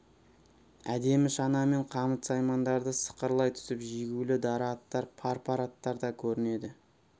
әдемі шана мен қамыт-саймандары сықырлай түсіп жегулі дара аттар пар-пар аттар да көрінеді